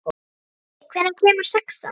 Rikki, hvenær kemur sexan?